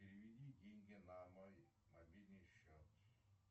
переведи деньги на мой мобильный счет